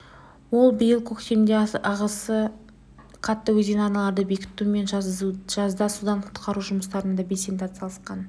ол биыл көктемде ағысы қатты өзен арналарын бекіту мен жазда судан құтқару жұмыстарына да белсенді атсалысқан